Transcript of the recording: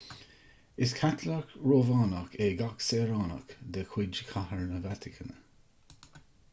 is caitliceach rómhánach é gach saoránach de chuid chathair na vatacáine